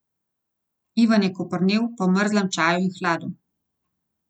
Ivan je koprnel po mrzlem čaju in hladu.